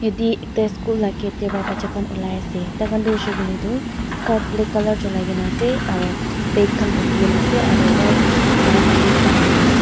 yatae ekta school la gate tae pa bacha khan olai ase tai khan toh hoishey koilae tu skirt black colour cholai kaena ase aro bag khan bukhiase aro white laka kamis lakai kaena ase.